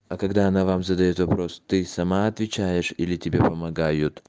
а когда она вам задаёт вопрос ты сама отвечаешь или тебе помогают